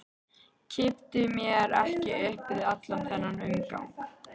Kippti mér ekki upp við allan þennan umgang.